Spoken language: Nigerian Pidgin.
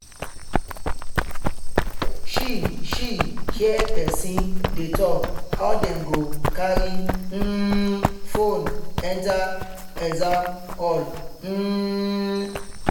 she she hear person dey talk how dem go carry um phone enter exam hall. um